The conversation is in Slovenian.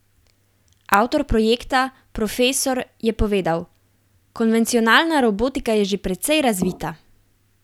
Avtor projekta, profesor , je povedal: "Konvencionalna robotika je že precej razvita.